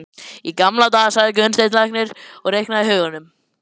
Í gamla daga, sagði Gunnsteinn læknir og reiknaði í huganum.